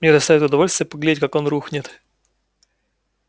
мне доставит удовольствие поглядеть как он рухнет